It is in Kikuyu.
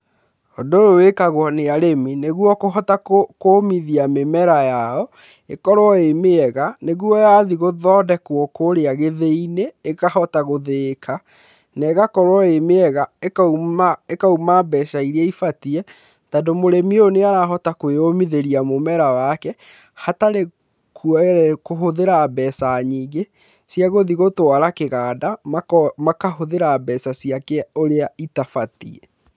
Ũndũ ũyũ wĩkagwo nĩ arĩmi nĩguo kũhota kũmithia mĩmera yao ĩkorwo ĩ mĩega nĩguo yathiĩ gũthondekwo kũrĩa gĩthĩi-inĩ ĩkahota gũthĩĩka, na ĩgakorwo ĩ mĩega, ĩkauma mbeca iria ibatiĩ tondũ mũrĩmi ũyũ nĩ arahota kwĩyũmithĩria mũmera wake hatarĩ kũhũthĩra mbeca nyingĩ cia gũthiĩ gũtwara kĩganda, makahũthĩra mbeca ciake ũrĩa itabatiĩ.